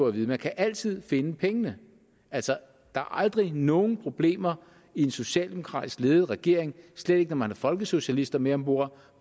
at vide man kan altid finde pengene altså der er aldrig nogen problemer i en socialdemokratisk ledet regering slet ikke når man har folkesocialister med om bord